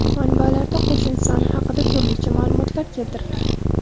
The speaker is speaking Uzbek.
Manbalarda qo‘shin soni haqida turlicha ma’lumotlar keltirilgan.